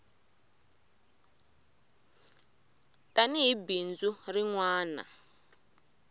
tani hi bindzu rin wana